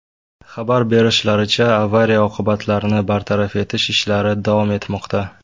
Xabar berishlaricha, avariya oqibatlarini bartaraf etish ishlari davom etmoqda.